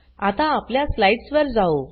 आता आपल्या स्लाइड्स वर जाऊ